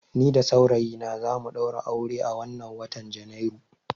Ni da saurayina za mu ɗaura aure a wannan watan Janairu.